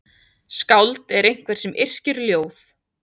Skáld er einhver sem yrkir ljóð.